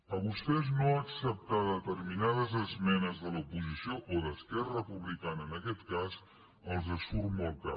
a vostès no acceptar determinades esmenes de l’oposició o d’esquerra republicana en aquest cas els surt molt car